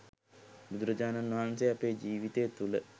බුදුරජාණන් වහන්සේ අපේ ජීවිතය තුළ